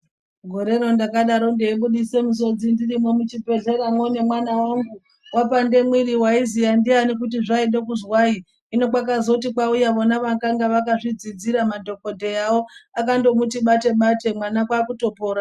Gore randakadaro ndayibudise misodzi ndirimo muchibhedlera muone mwana wangu wapande muiri, ndiani wayiziya kuti zvaide kuzwayi ,hino kwazoti kwawuya vona vakange vakazvidzidzira madhokodheyawo akamuti bate bate mwana kwakutopora.